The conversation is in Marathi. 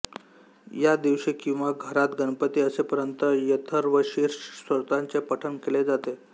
या दिवशी किंवा घरात गणपती असेपर्यंत अथर्वशीर्ष स्तोत्राचे पठण केले जाते